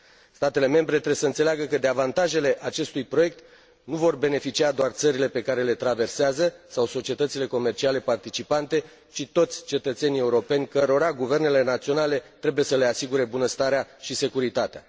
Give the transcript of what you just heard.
Statele membre trebuie să înțeleagă că de avantajele acestui proiect nu vor beneficia doar țările pe care le traversează, sau societățile comerciale participante, ci toți cetățenii europeni cărora guvernele naționale trebuie să le asigure bunăstarea și securitatea.